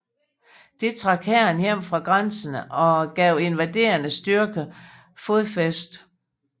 Det trak hæren hjem fra grænserne og gav invaderende styrker fodfæste